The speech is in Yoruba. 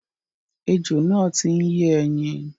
Ejò náà ti ń yé ẹyin.